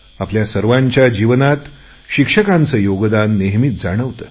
आपल्या सर्वांच्या जीवनात शिक्षकांचे योगदान नेहमीच जाणवते